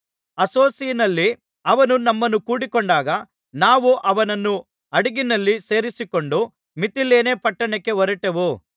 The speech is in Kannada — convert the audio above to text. ಅಸ್ಸೊಸಿನಲ್ಲಿ ಅವನು ನಮ್ಮನ್ನು ಕೂಡಿಕೊಂಡಾಗ ನಾವು ಅವನನ್ನು ಹಡಗಿನಲ್ಲಿ ಸೇರಿಸಿಕೊಂಡು ಮಿತಿಲೇನೆ ಪಟ್ಟಣಕ್ಕೆ ಹೊರಟೆವು